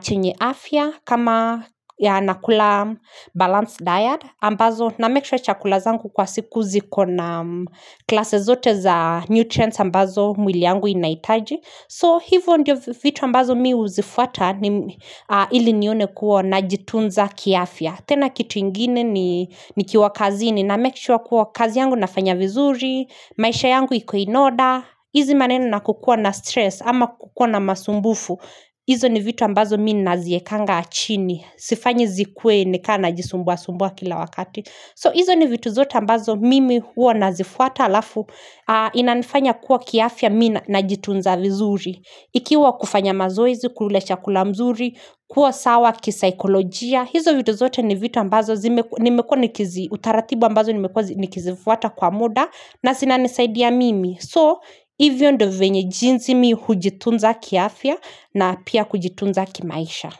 chenye afya kama nakula balanced diet ambazo na make sure chakula zangu kwa siku ziko na klase zote za nutrients ambazo mwili yangu inaitaji So hivo ndio vitu ambazo mi huzifwata ili nione kuo najitunza kiafya tena kitu ingine ni ni kiwa kazi ni na make shua kuwa kazi yangu nafanya vizuri, maisha yangu iko inoda, hizi maneno na kukua na stress ama kukua na masumbufu, hizo ni vitu ambazo mi naziekanga achini, sifanyi zikuwe nikana jisumbua sumbua kila wakati. So hizo ni vitu zote ambazo mimi huo nazifuata alafu inanifanya kuwa kiafya mina na jitunza vizuri. Ikiwa kufanya mazoezi, kula chakula mzuri, kuwa sawa kisaikolojia. Hizo vitu zote ni vitu ambazo utaratibu ambazo nimekua nikizifuata kwa muda na sinanisaidia mimi. So hivyo ndo venye jinzi mi hujitunza kiafya na pia kujitunza kimaisha.